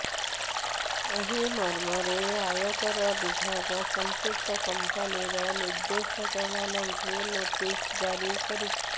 ଏହି ମର୍ମରେ ଆୟକର ବିଭାଗ ସମ୍ପୃକ୍ତ କମ୍ପାନୀର ନିର୍ଦେଶକମାନଙ୍କୁ ନୋଟିସ ଜାରି କରିଛି